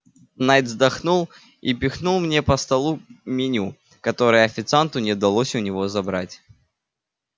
найд вздохнул и пихнул мне по столу меню которое официанту не удалось у него забрать